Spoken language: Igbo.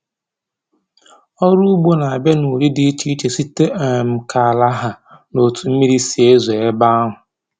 Ọrụ ugbo na-abịa n'ụdị dị iche iche, site um k'ala ha na otu mmiri si ezo ebe ahụ